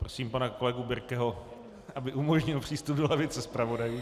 Prosím pana kolegu Birkeho, aby umožnil přístup do lavice zpravodajů.